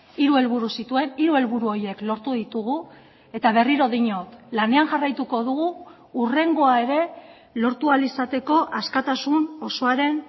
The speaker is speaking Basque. hiru helburu zituen hiru helburu horiek lortu ditugu eta berriro diot lanean jarraituko dugu hurrengoa ere lortu ahal izateko askatasun osoaren